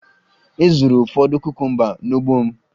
E zuru ụfọdụ kukumba n'ugbo m